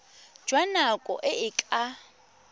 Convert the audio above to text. jwa nako e e ka